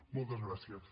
moltes gràcies